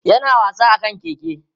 yana wasa akan keke